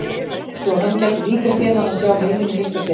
Svo að hann gæti líka séð hana sjá heiminn í fyrsta sinn.